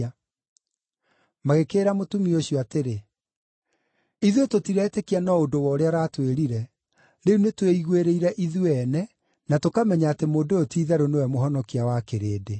Magĩkĩĩra mũtumia ũcio atĩrĩ, “Ithuĩ tũtiretĩkia no ũndũ wa ũrĩa ũratwĩrire; rĩu nĩtwĩiguĩrĩire ithuĩ ene na tũkamenya atĩ mũndũ ũyũ ti-itherũ nĩwe Mũhonokia wa kĩrĩndĩ.”